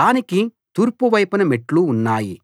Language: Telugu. దానికి తూర్పు వైపున మెట్లు ఉన్నాయి